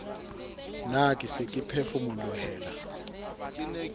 ne ke se ke phefomolohela